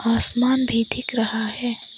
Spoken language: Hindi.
आसमान भी दिख रहा है।